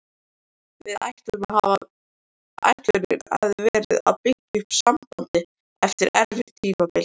Ætlunin hafði verið að byggja upp sambandið eftir erfitt tímabil.